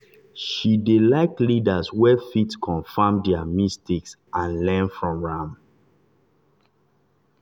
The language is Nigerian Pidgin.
she dey like leaders wey fit confirm their mistake and learn from am.